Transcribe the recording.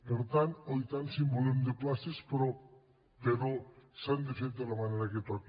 per tant oh i tant si en volem de places però s’han de fer de la manera que toca